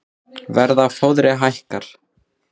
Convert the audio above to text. Verð á fóðri hækkar